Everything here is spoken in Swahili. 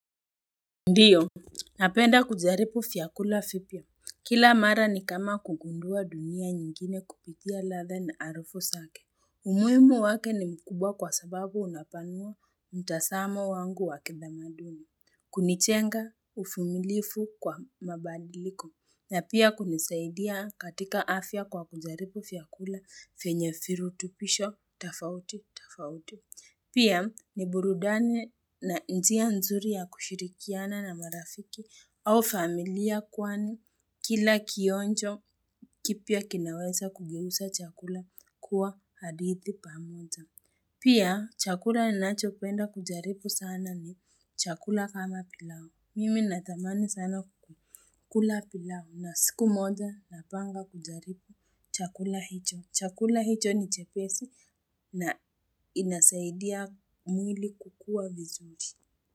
Ndiyo, napenda kujaribu vyakula vipya. Kila mara ni kama kugundua dunia nyingine kupitia ladha na harufu zake. Umuhimu wake ni mkubwa kwa sababu unapanua mtazamo wangu wa kitamaduni. Kunijenga uvumilivu kwa mabadiliko. Na pia kunisaidia katika afya kwa kujaribu vyakula vyenye virutuvisho, tofauti, tofauti. Pia ni burudani na njia nzuri ya kushirikiana na marafiki au familia kwani kila kionjo kipya kinaweza kugeuza chakula kuwa hadithi pamoja. Pia chakula ninachopenda kujaribu sana ni chakula kama pilau. Mimi natamani sana kukula pilau na siku moja napanga kujaribu chakula hicho. Chakula hicho ni chepesi na inasaidia mwili kukua vizuri.